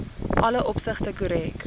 alle opsigte korrek